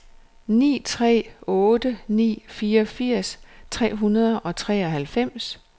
ni tre otte ni fireogfirs tre hundrede og treoghalvfems